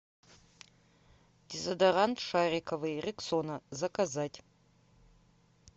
дезодорант шариковый рексона заказать